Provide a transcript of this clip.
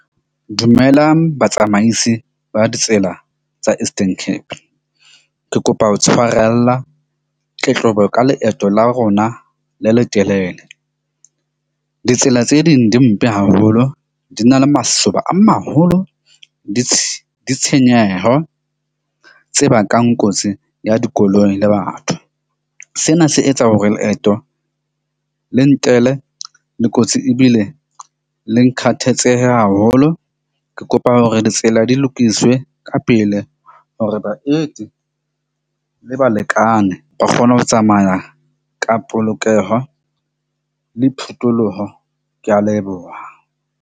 Dumelang batsamaisi ba ditsela tsa Eastern Cape. Ke kopa ho tshwarella tletlebo ka leeto la rona le letelele. Ditsela tse ding di mpe haholo, di na le masoba a maholo, di di tshenyeho tse bakang kotsi ya dikoloi le batho. Sena se etsa hore leeto le ntlele le kotsi ebile le haholo. Ke kopa hore ditsela di lokiswe ka pele hore baeti le balekane ba kgone ho tsamaya ka polokeho le phutoloho. Ke a leboha.